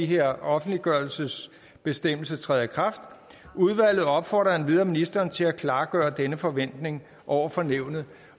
her offentliggørelsesbestemmelse træder i kraft udvalget opfordrer endvidere ministeren til at klargøre denne forventning over for nævnet